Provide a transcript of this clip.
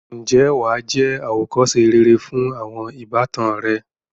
ǹjẹ́ wà á jẹ́ àwòkọ́se rere fún àwọn ìbátan rẹ.